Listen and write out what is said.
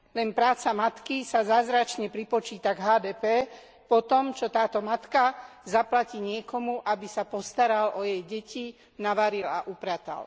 Len práca matky sa zázračne pripočíta k HDP po tom, čo táto matka zaplatí niekomu, aby sa postaral o jej deti, navaril a upratal.